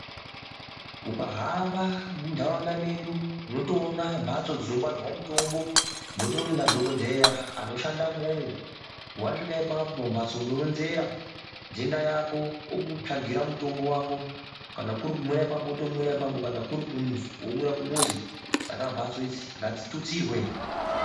Ukahamba mundaraunda medu unotoona mbatso dzinongwarirwa mutombo mutori nadhokodheya anoshanda umwomwo wasvika ipapo mumbatso unoronzera ndenda yako okutsvagira mutombo wako, kana kuri kumwira ipapo womwira ipapo kana kuri kumuzi womwira kumuzi, saka mhatso idzi ngadzitutsirwe.